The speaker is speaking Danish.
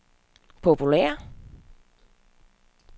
populære